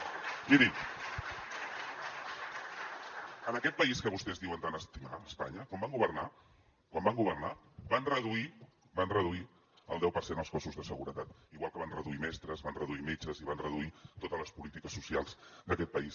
)miri en aquest país que vostès diuen tant estimar espanya quan van governar quan van governar van reduir van reduir el deu per cent els cossos de seguretat igual que van reduir mestres van reduir metges i van reduir totes les polítiques socials d’aquest país